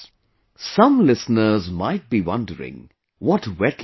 Some listeners might be wondering what wetlands are